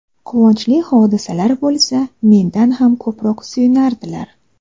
Quvonchli hodisalar bo‘lsa, mendan ham ko‘proq suyunardilar.